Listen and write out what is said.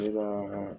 Ne ka